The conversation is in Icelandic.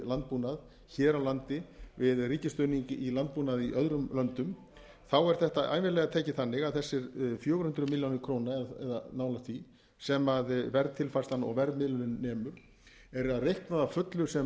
landbúnað hér á landi við ríkisstuðning við landbúnað í öðrum löndum er þetta ævinlega tekið þannig að þessar fjögur hundruð milljónir króna eða nálægt því sem verðtilfærslan og verðmiðlunin nemur er reiknað að fullu sem